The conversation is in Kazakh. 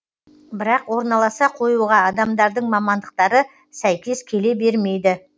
бірақ орналаса қоюға адамдардың мамандықтары сәйкес келе бермейді